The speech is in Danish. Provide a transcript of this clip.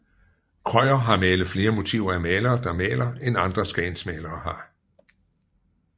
Krøyer har malet flere motiver af malere der maler end andre Skagensmalere har